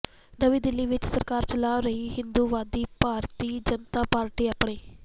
ਨਵੀਂ ਦਿੱਲੀ ਵਿੱਚ ਸਰਕਾਰ ਚਲਾ ਰਹੀ ਹਿੰਦੂਤਵੀ ਭਾਰਤੀ ਜਨਤਾ ਪਾਰਟੀ ਅਪਣੇ